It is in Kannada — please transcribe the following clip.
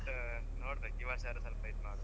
But ನೋಡ್ಬೇಕ್ ಈ ವರ್ಷ ಆದ್ರೂ ಸ್ವಲ್ಪ ಇದ್ ಮಾಡುವ ಅಂತ.